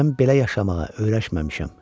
Mən belə yaşamağa öyrəşməmişəm.